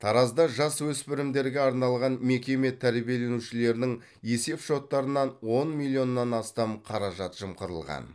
таразда жасөспірімдерге арналған мекеме тәрбиеленушілерінің есеп шоттарынан он миллионнан астам қаражат жымқырылған